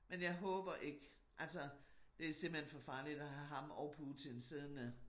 Men jeg håber ikke altså det simpelthen for farligt at have ham og Putin siddende